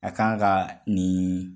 A kan ka nin